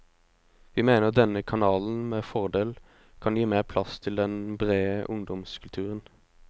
Vi mener denne kanalen med fordel kan gi mer plass til den brede ungdomskulturen.